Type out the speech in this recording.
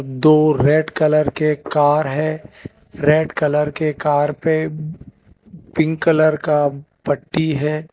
दो red colour के car है रेड कलर के कार पे पिंक कलर का पट्टी है।